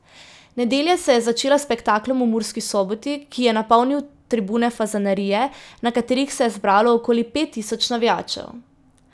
Nedelja se je začela s spektaklom v Murski Soboti, ki je napolnil tribune Fazanerije, na katerih se je zbralo okoli pet tisoč navijačev.